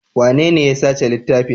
Wanene ya saci littafin?